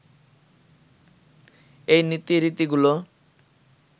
এই নীতি রীতিগুলো